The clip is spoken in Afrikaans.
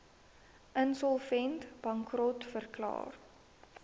insolvent bankrot verklaar